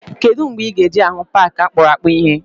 Kedụ mgbe ị ga-eje hụ paaki akpụrụakpụ ịhe?